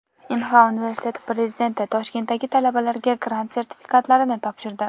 Inha universiteti prezidenti Toshkentdagi talabalarga grant sertifikatlarini topshirdi.